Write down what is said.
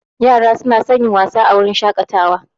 Yara suna son yin wasa a wurin shakatawa